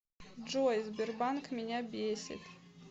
джой сбербанк меня бесит